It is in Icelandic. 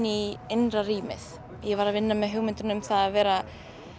í innra rýmið ég var að vinna með hugmyndina um það að vera